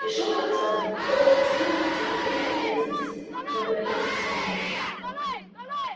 пришёл октябрь холод и сырость затопили окрестности пробрались в замок